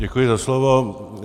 Děkuji za slovo.